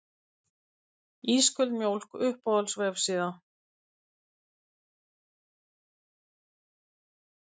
Ísköld mjólk Uppáhalds vefsíða?